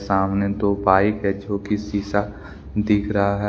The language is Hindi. सामने दो बाइक है जो की शिशा दिख रहा है।